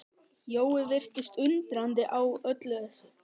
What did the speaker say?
Jói virtist undrandi á öllu þessu.